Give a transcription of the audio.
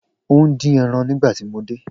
O n din ẹran nigbati mo de